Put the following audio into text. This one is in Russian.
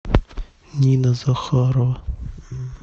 нина захарова